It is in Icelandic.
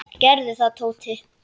Gerðu það, Tóti.